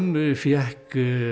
fékk